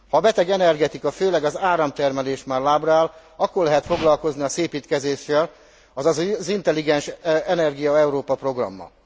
Ha a beteg energetika, főleg az áramtermelés már lábra áll, akkor lehet foglalkozni a szépítkezéssel, azaz az Intelligens energia Európa programmal.